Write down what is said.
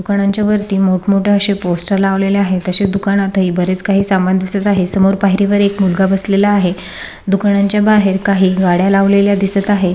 दुकानाच्या वरती मोठ मोठे असे पोस्टर लावलेले आहे तसे दुकानात ही बरेच काही समान दिसत आहे समोर पायरी वर एक मुलगा बसलेला दिसत आहे दुकानाच्या बाहेर काही गाड्या लावलेल्या दिसत आहे.